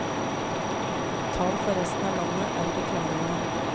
Tall for resten av landet er ikke klare ennå.